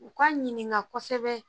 U ka ɲininka kosɛbɛ